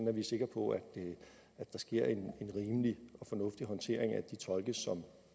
er vi sikre på at der sker en rimelig og fornuftig håndtering af de tolke som